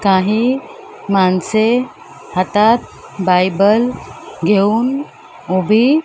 काही माणसे हातात बायबल घेऊन उभी--